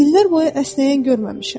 İllər boyu əsnəyən görməmişəm.